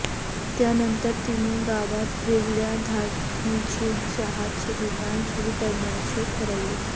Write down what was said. त्यानंतर तीने गावात वेगळ्या धाटनीचे चहाचे दुकान सुरु करण्याचे ठरवले